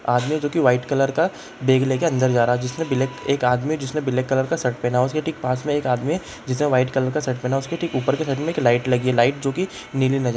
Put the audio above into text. आदमी है जो की व्हाइट कलर का बैग लेके अंदर जा रहा है जिसने ब्लैक एक आदमी है जिसने ब्लैक कलर का शर्ट पहना है उसके ठीक पास में एक आदमी है जिसने व्हाइट कलर का शर्ट पहना है उसके ठीक ऊपर की साइड में लाइट लगी है लाइट जो की नीली नज़र-- ।